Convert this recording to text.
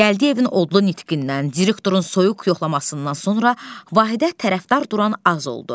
Gəldiyevin odlu nitqindən, direktorun soyuq yoxlamasından sonra Vahidə tərəfdar duran az oldu.